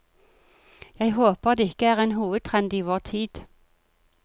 Jeg håper det ikke er en hovedtrend i vår tid.